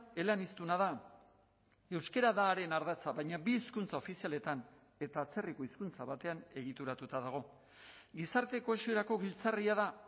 eleaniztuna da euskara da haren ardatza baina bi hizkuntza ofizialetan eta atzerriko hizkuntza batean egituratuta dago gizarte kohesiorako giltzarria da